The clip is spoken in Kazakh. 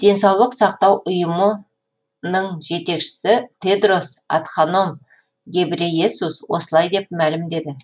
денсаулық сақтау ұйымы ның жетекшісі тедрос адханом гебрейесус осылай деп мәлімдеді